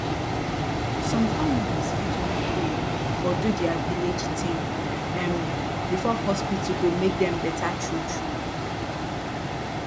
som families fit wan pray or do dia village tin um before hospital go mak dem beta trutru